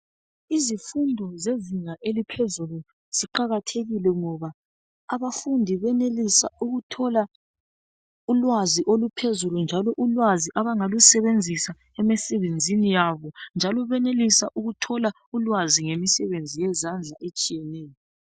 Izifundo zezinga eliphezulu, ziqakathekile ngoba, abafundi benelisa ukuthola ulwazi oluphezulu, njalo ulwazi abangalusebenzisa emisebenzini yabo. Njalo benelisa ukutholwa ulwazi ngemisebenzi yezandla etshiyeneyo.